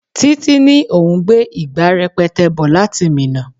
Títí ní òun gbé ìgbà rẹpẹtẹ bò láti Minna.